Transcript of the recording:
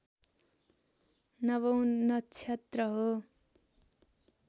नवौँ नक्षत्र हो